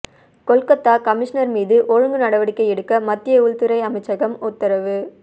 Kolkata commissioner மீது ஒழுங்கு நடவடிக்கை எடுக்க மத்திய உள்துறை அமைச்சகம் உத்தரவு